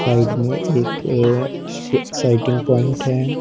Side मे एक ए सेटिंग पॉइंट है।